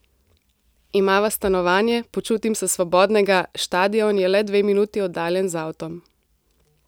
Imava stanovanje, počutim sem svobodnega, štadion je le dve minuti oddaljen z avtom.